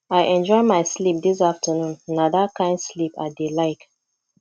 i enjoy my sleep dis afternoon na dat kin sleep i dey like